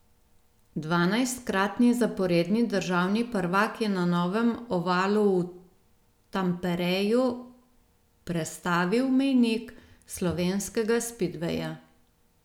Dvanajstkratni zaporedni državni prvak je na novem ovalu v Tampereju prestavil mejnik slovenskega spidveja.